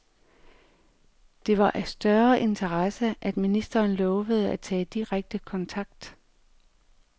Det var af større interesse, at ministeren lovede at tage direkte kontakt.